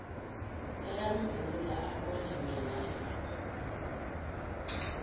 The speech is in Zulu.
bayamvula abone minaesitolo